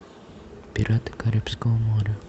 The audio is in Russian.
пираты карибского моря